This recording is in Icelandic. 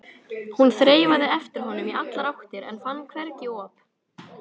Hún þreifaði eftir honum í allar áttir en fann hvergi op.